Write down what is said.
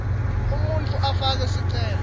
umuntfu afake sicelo